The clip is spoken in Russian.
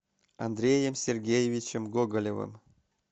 андреем сергеевичем гоголевым